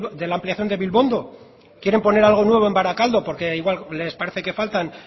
de la ampliación de bilbondo quieren poner algo nuevo en barakaldo porque igual les parece que faltan